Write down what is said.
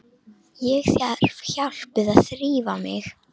Ég þarf hjálp við að þrífa mig.